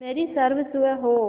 मेरी सर्वस्व हो